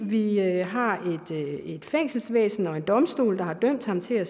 vi har et fængselsvæsen og en domstol der har dømt ham til at